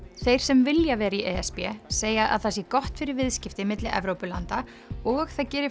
þeir sem vilja vera í e s b segja að það sé gott fyrir viðskipti milli Evrópulanda og það geri